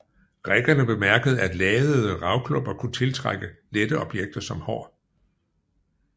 Grækerne bemærkede at ladede ravklumper kunne tiltrække lette objekter som hår